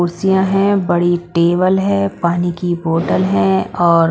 कुर्सियां हैं बड़ी टेबल है पानी की बोतल है और--